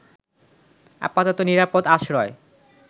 আপাতত নিরাপদ আশ্রয়